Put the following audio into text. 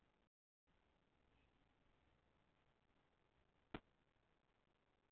Lyki henni með upplýsingum sem hún hefði mín vegna mátt sleppa.